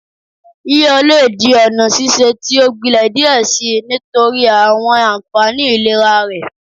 Yiyọ le di ọna sise ti o gbilẹ diẹ sii nitori awọn anfani ilera rẹ